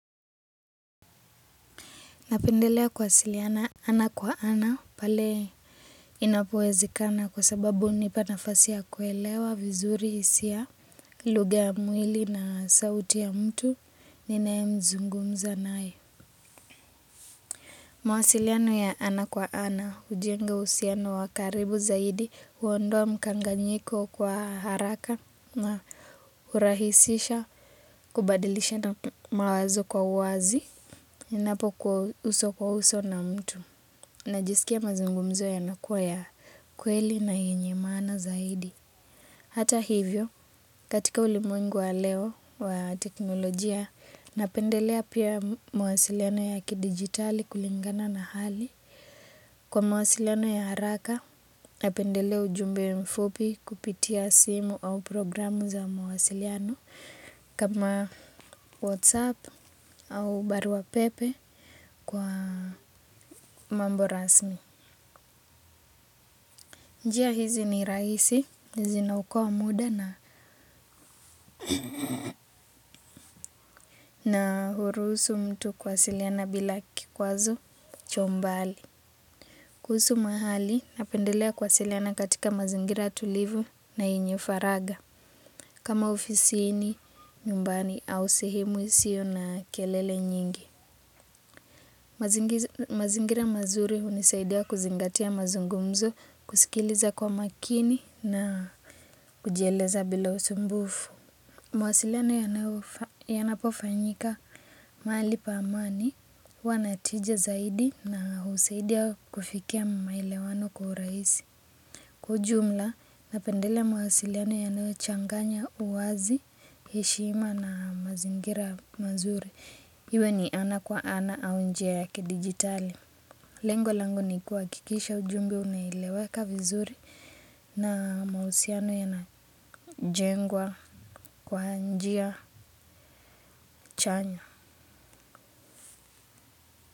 Napendelea kuwasiliana ana kwa ana pale inapowezekana kwa sababu hunipa nafasi ya kuelewa vizuri hisia, lugha ya mwili na sauti ya mtu ninae mzungumza nae. Mawasiliano ya ana kwa ana hujenga uhusiano wa karibu zaidi uondoa mkanganyiko kwa haraka na hurahisisha kubadilishana mawazo kwa uwazi ninapo kuwa uso kwa uso na mtu. Najisikia mazungumzo yanakuwa ya kweli na yenye maana zaidi. Hata hivyo, katika ulimwengu wa leo wa teknolojia, napendelea pia mawasiliano ya kidigitali kulingana na hali. Kwa mawasiliano ya haraka, napendelea ujumbe mfupi kupitia simu au programu za mawasiliano kama WhatsApp au baruapepe kwa mambo rasmi. Njia hizi ni rahisi, zinaokoa muda na, na huruhusu mtu kuwasiliana bila kikwazo chwa umbali. Kuhusu mahali, napendelea kuwasiliana katika mazingira tulivu na yenye faragha. Kama ofisini, nyumbani, au sehemu isio na kelele nyingi. Mazingira mazuri hunisaidia kuzingatia mazungumzo, kusikiliza kwa makini na kujieleza bila usumbufu. Mawasiliano ya napo fanyika mahali pa amani huwa na tija zaidi na husaidia kufikia maelewano kwa urahisi. Kwa ujumla napendelea mawasiliano yanayo changanya uwazi, heshima na mazingira mazuri. Iwe ni ana kwa ana au njia ya kidigitali. Lengo langu ni kuhakikisha ujumbe unaeleweka vizuri, na mahusiano yana jengwa kwa njia chanya.